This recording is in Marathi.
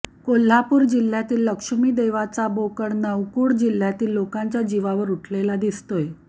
कोल्हापूर जिल्ह्यातील लक्ष्मी देवाचा बोकड नौकुड गावातील लोकांच्या जीवावर उठलेला दिसतोय